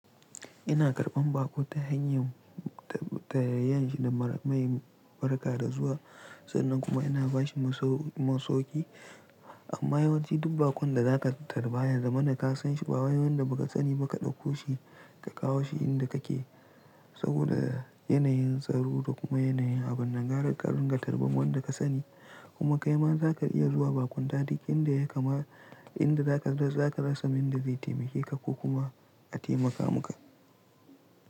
Ina karɓan baƙo ta hanyar tarayyanshi da mara mai barka da zuwa, sannan kuma ina bashi masauki. Amma yawanci duk baƙon da zaka tarba yaza mana ka san shi ba wai wanda baka sani ba ka ɗauko shi ka kawo shi inda kake saboda yanayin tsaro da kuma yanayin abin nan gara karin ga tarban wanda ka sani. Kuma kai ma zaka iya zuwa baƙunta duk inda ya kama, inda zaka rasa wanda zai taimake ka ko kuma a taimaka muka.